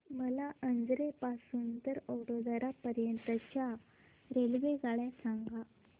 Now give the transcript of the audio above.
मला अजमेर पासून तर वडोदरा पर्यंत च्या रेल्वेगाड्या सांगा